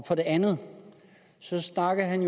for det andet snakkede han